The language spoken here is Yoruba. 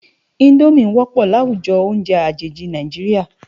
Indómi wòpò láwújò óùnjè ajéji Nájiriá